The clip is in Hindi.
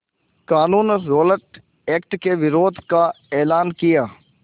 क़ानून रौलट एक्ट के विरोध का एलान किया